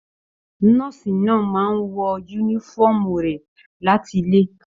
Nọ́ọ̀sì náà máa n wọ yúnífọ̀ọ́mù rẹ láti ilé.